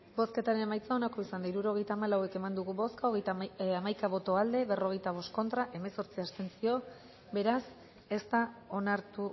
bozketaren emaitza onako izan da hirurogeita hamalau eman dugu bozka hamaika boto aldekoa berrogeita bost contra hemezortzi abstentzio beraz ez da onartu